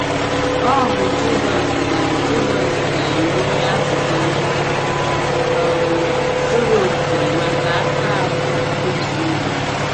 Ọ bụ Jizọs ga - Jizọs ga - enye azịza um zuru okè maka aka ahụ Ekwensụ mara.